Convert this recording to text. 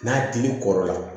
N'a dili kɔrɔ la